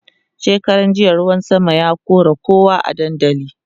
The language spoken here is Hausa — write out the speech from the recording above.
shekaran jiya ruwan sama ya kora kowa a dandali